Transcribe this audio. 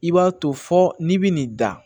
I b'a to fɔ n'i bɛ nin da